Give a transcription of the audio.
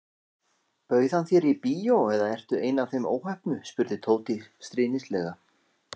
Bauð hann þér í bíó eða ertu ein af þeim óheppnu spurði Tóti stríðnislega.